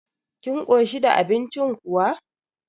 Kin koshi da abincin kuwa?